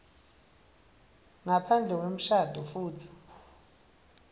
ngaphandle kwemshado futsi